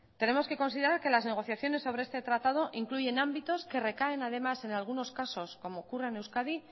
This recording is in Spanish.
tenemos que considerar que las negociaciones sobre este tratado incluye ámbitos que recaen además en algunos casos como ocurre en euskadi